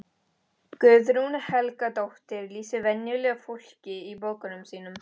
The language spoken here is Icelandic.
Guðrún Helgadóttir lýsir venjulegu fólki í bókunum sínum.